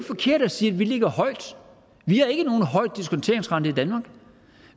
forkert at sige at vi ligger højt vi har ikke nogen høj diskonteringsrente i danmark